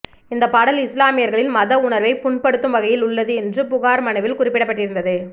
இந்த பாடல் இஸ்லாமியர்களின் மத உணர்வை புண்படுத்தும் வகையில் உள்ளது என்று புகார் மனுவில் குறிப்பிடப்பட்டிருந்தது